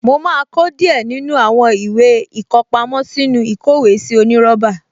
Mo máa kó díẹ̀ nínú àwọn ìwé ìkọpámọ́ sínú ìkówèésí onírọ́bà